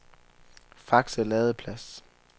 Fakse Ladeplads